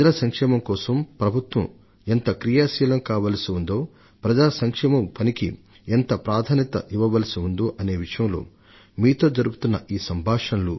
ప్రజలకు సేవ చేయడంలో ప్రభుత్వం ఎంత క్రియాశీలంగా ఉండాలో ప్రజా సంక్షేమ కార్యక్రమాలకు ఎంత ప్రాధాన్యం ఇవ్వాలో అనే విషయాలలో ఈ సంభాషణలు మీతో నాకు ఉన్న లంకె